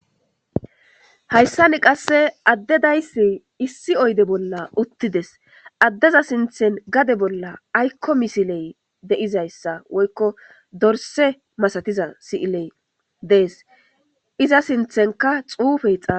hayssani qasse addedayssi issi oyde bolla uttides addeza sinthen gade bolla aykko misiley deizayssa woykko dorse masatiza si'iley dees iza sinthenka xuufey xa